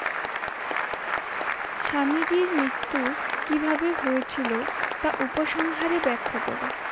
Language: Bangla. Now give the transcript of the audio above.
স্বামীজীর মৃত্যু কী ভাবে হয়েছিল তা উপসংহারে ব্যাখা করো?